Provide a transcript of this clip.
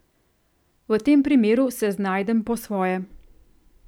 V tem primeru se znajdem po svoje.